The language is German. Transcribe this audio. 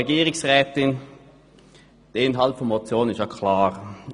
Der Inhalt der Motion ist klar.